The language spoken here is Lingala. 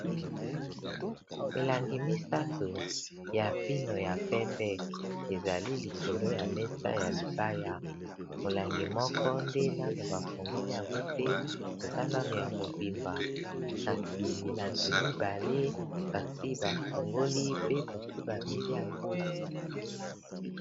Milangi misato ya vino ya pembe ezali likolo ya mesa ya libaya molangi moko nde nanu bafongoli yango te eza nanu ya mobimba kasi milangi mibale basi bafongoli pe basi bameli yango.